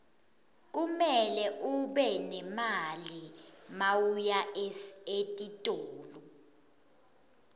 kumele ube nemali mawuya etitolo